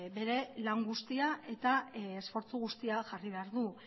bere lan guztia eta esfortzu guztia jarri behar du